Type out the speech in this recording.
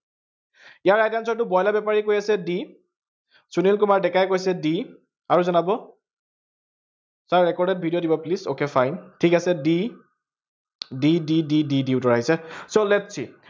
ইয়াৰ right answer টো broiler বেপাৰীয়ে কৈ আছে d সুনিল কুমাৰ ডেকাই কৈছে d আৰু জনাব। sir recorded video দিব plese, okay fine ঠিক আছে d d d d d d উত্তৰ আহিছে, so lets see